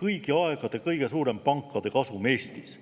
kõigi aegade kõige suurem pankade kasum Eestis.